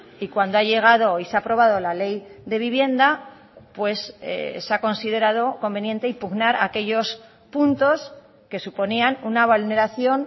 y cuando ha llegado y se ha aprobado la ley de vivienda pues se ha considerado conveniente impugnar aquellos puntos que suponían una vulneración